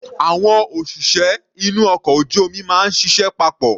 Àwọn òṣìṣẹ́ inú ọkọ̀ ojú omi máa ń ṣiṣẹ́ papọ̀.